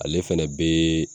Ale fɛnɛ be